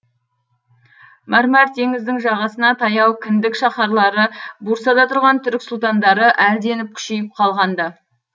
мәрмәр теңіздің жағасына таяу кіндік шаһарлары брусада тұрған түрік сұлтандары әлденіп күшейіп қалған ды